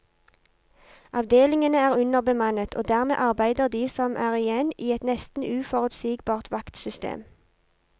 Avdelingene er underbemannet og dermed arbeider de som er igjen i et nesten uforutsigbart vaktsystem.